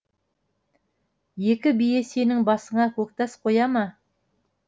екі бие сенің басыңа көктас қоя ма